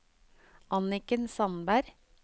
Anniken Sandberg